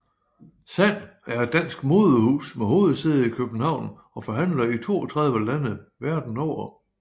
SAND er et dansk modehus med hovedsæde i København og forhandlere i 32 lande verden over